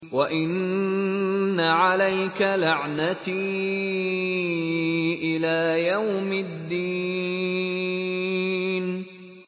وَإِنَّ عَلَيْكَ لَعْنَتِي إِلَىٰ يَوْمِ الدِّينِ